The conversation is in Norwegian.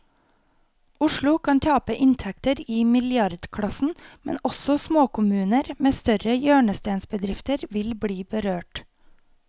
Oslo kan tape inntekter i milliardklassen, men også småkommuner med større hjørnestensbedrifter vil bli berørt.